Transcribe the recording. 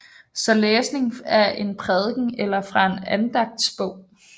Så læsning af en prædiken eller fra en andagtsbog